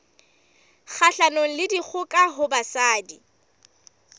kgahlanong le dikgoka ho basadi